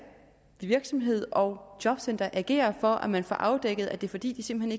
virksomhed og jobcenter agere for at man får afdækket at det er fordi de simpelt